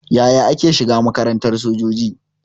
Yaya ake shiga makarantar sojoji?